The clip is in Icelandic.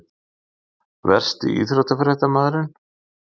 Versti íþróttafréttamaðurinn?